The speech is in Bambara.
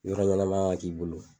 Yɔrɔ ɲɛnama ka k'i bolo.